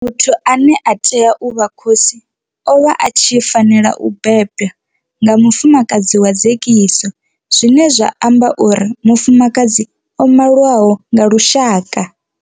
Muthu ane a tea u vha khosi o vha a tshi fanela u bebwa nga mufumakadzi wa dzekiso zwine zwa amba uri mufumakadzi o maliwaho nga lushaka.